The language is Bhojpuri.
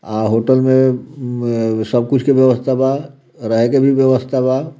अ होटल में मम सब कुछ के व्यस्था बा रहे की भी व्यवस्था बा।